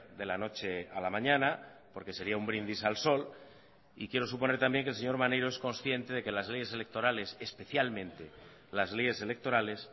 de la noche a la mañana porque sería un brindis al sol y quiero suponer también que el señor maneiro es consciente de que las leyes electorales especialmente las leyes electorales